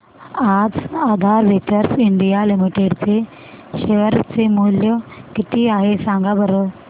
आज Aadhaar ventures India limited चे share चे मूल्य किती आहे सांगा बरं